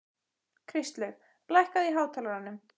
Kristlaug, lækkaðu í hátalaranum.